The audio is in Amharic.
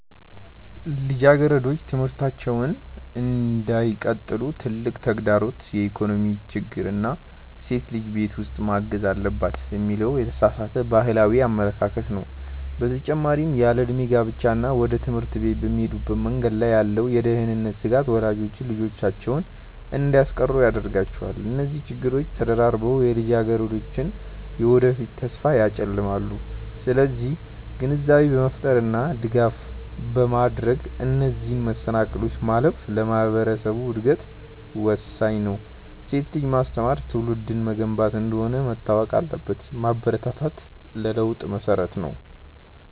ልጃገረዶች ትምህርታቸውን እንዳይቀጥሉ ትልቁ ተግዳሮት የኢኮኖሚ ችግር እና ሴት ልጅ ቤት ውስጥ ማገዝ አለባት የሚለው የተሳሳተ ባህላዊ አመለካከት ነው። በተጨማሪም ያለዕድሜ ጋብቻ እና ወደ ትምህርት ቤት በሚሄዱበት መንገድ ላይ ያለው የደህንነት ስጋት ወላጆች ልጆቻቸውን እንዲያስቀሩ ያደርጋቸዋል። እነዚህ ችግሮች ተደራርበው የልጃገረዶችን የወደፊት ተስፋ ያጨልማሉ። ስለዚህ ግንዛቤ በመፍጠር እና ድጋፍ በማድረግ እነዚህን መሰናክሎች ማለፍ ለማህበረሰቡ እድገት ወሳኝ ነው። ሴት ልጅን ማስተማር ትውልድን መገንባት እንደሆነ መታወቅ አለበት። ማበረታታት ለለውጥ መሰረት ነው።